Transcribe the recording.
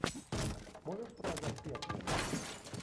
можешь показать пеплум